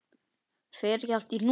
Fer ekki allt í hnút?